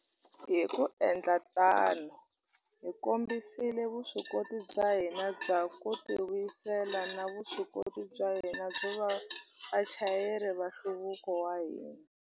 Hi ku endla tano, hi kombisile vuswikoti bya hina bya ku tivuyisela na vuswikoti bya hina byo va vachayeri va nhluvuko wa hina.